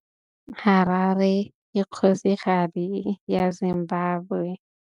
Harare ke kgosigadi ya Zimbabwe.